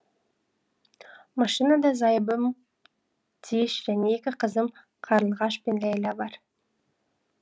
машинада зайыбым тиыш және екі қызым қарлығаш пен ләйла бар